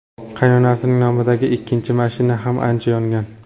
Qaynonasining nomidagi ikkinchi mashina ham ancha yongan.